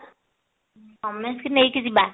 ସମସ୍ତଙ୍କୁ ନେଇକି ଯିବା